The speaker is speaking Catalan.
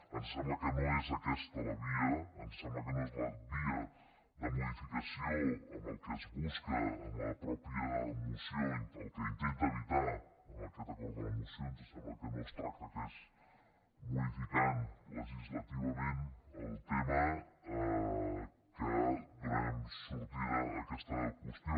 ens sembla que no és aquesta la via ens sembla que no és la via de modificació amb el que es busca en la mateixa moció el que intenta evitar amb aquest acord de la moció ens sembla que no és modificant legislativament el tema que donarem sortida a aquesta qüestió